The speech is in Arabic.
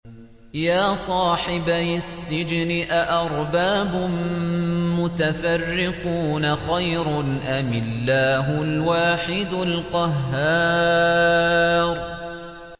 يَا صَاحِبَيِ السِّجْنِ أَأَرْبَابٌ مُّتَفَرِّقُونَ خَيْرٌ أَمِ اللَّهُ الْوَاحِدُ الْقَهَّارُ